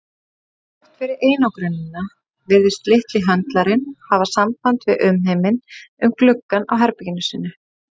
Þrátt fyrir einangrunina virtist litli höndlarinn hafa samband við umheiminn um gluggann á herbergi sínu.